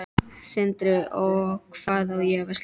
Sindri: Og hvað á að versla?